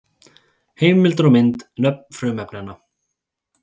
Heimildir og mynd: Nöfn frumefnanna.